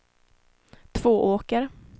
Tvååker